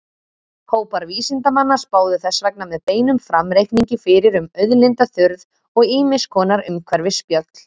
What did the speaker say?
Hópar vísindamanna spáðu þess vegna með beinum framreikningi fyrir um auðlindaþurrð og ýmiss konar umhverfisspjöll.